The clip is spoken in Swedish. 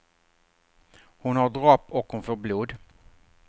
Hon har dropp och hon får blod.